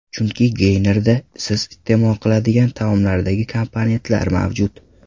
Chunki geynerda siz iste’mol qiladigan taomlardagi komponentlar mavjud.